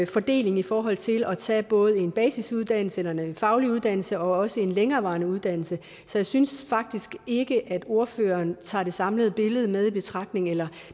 fordeling i forhold til at tage både en basisuddannelse eller en faglig uddannelse og også en længerevarende uddannelse så jeg synes faktisk ikke at ordføreren tager det samlede billede med i betragtning eller